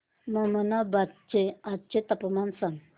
ममनाबाद चे आजचे तापमान सांग